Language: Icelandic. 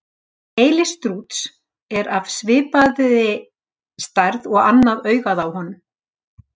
Heili strúts er af svipaði stærð og annað augað á honum.